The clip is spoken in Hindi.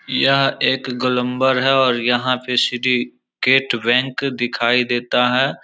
यह एक गोलम्बर है और यहाँ पे सिटी गेट बैंक दिखाई देता है।